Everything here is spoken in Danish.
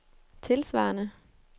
tilsvarende